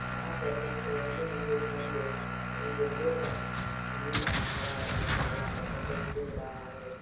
यहाँ पर कुछ रंग-बिरंगे गेंदे इन गेंदों का रंग नीला हरा और काला सफ़ेद दिख रहा है।